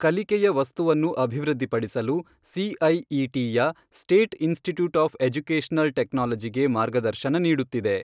ಕಲಿಕೆಯ ವಸ್ತುವನ್ನು ಅಭಿವೃದ್ಧಿಪಡಿಸಲು ಸಿಐಇಟಿಯ, ಸ್ಟೇಟ್ ಇನ್ಸ್ಟಿಟ್ಯೂಟ್ ಓಫ್ ಎಜುಕೇಷನಲ್ ಟೆಕ್ನಾಲಜಿಗೆ ಮಾರ್ಗದರ್ಶನ ನೀಡುತ್ತಿದೆ.